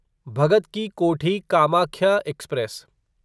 Bhagat Ki Kothi Kamakhya express